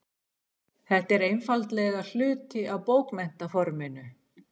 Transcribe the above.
Þetta er einfaldlega hluti af bókmenntaforminu.